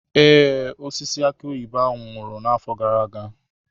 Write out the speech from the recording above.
Ee, osisi aki oyibo ahụ nwụrụ n'afọ gara aga.